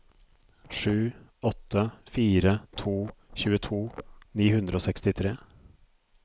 sju åtte fire to tjueto ni hundre og sekstitre